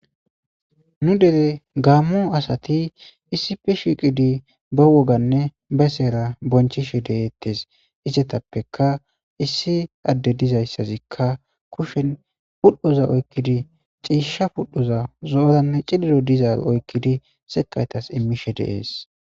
Nu dere gaammo asati issifi shiqidi ba woganne besera bonchishe de'etees. Izetappeka issi adde dizayssazikka kushen pudhoza oykkidi ciisha pudhoza zo'oranne cililo diza oykkidi sekaytas immishe de'ees.